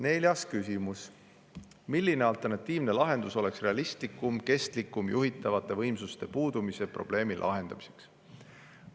Neljas küsimus: "Milline alternatiivne lahendus oleks realistlikum ja kestlikum juhitavate võimsuste puudumise probleemi lahendamiseks?